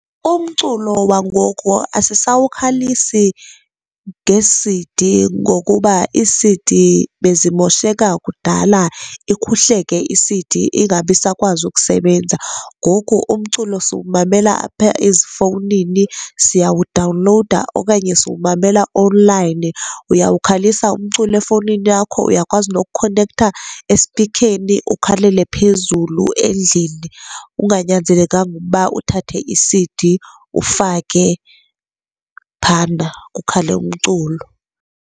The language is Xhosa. Umculo wangoku asisawukhalisi ngee-C_D ngokuba ii-C_D bezimosheka kudala, ikhuhleke i-C_D ingabi sakwazi ukusebenza. Ngoku umculo siwumamela apha ezifowunini, siyawudawulowuda okanye siwumamela onlayini. Uyawukhalisa umculo efowunini yakho, uyakwazi nokukonetha esipikheni ukhalela phezulu endlini unganyenzelekanga ukuba uthathe i-C_D ufake phana, kukhale umculo.